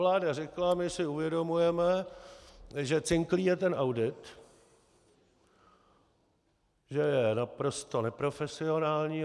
Vláda řekla: My si uvědomujeme, že cinklý je ten audit, že je naprosto neprofesionální.